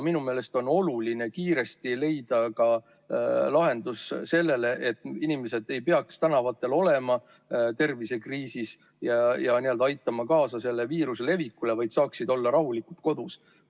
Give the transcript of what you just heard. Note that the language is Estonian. Minu meelest on oluline kiiresti leida sellele lahendus, et inimesed ei peaks tervisekriisi ajal tänavatel olema ja aitama kaasa viiruse levikule, vaid saaksid olla rahulikult kodus.